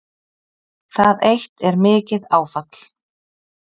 Það eitt er mikið áfall